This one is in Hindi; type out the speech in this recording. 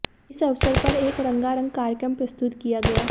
इस अवसर पर एक रंगारंग कार्यक्रम प्रस्तुत किया गया